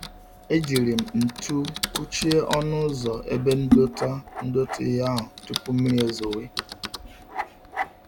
E jírí m ntu kụchie ọnụ ụzọ ebe ndota ndota ihe ahụ, tupu mmiri ezowe